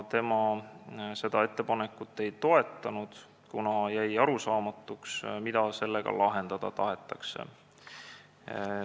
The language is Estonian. Tema seda ettepanekut ei toetanud, kuna talle jäi arusaamatuks, mida sellega lahendada tahetakse.